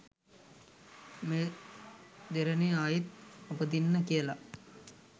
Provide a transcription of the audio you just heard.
මේ දෙරණේ ආයෙත් උපදින්න කියලා.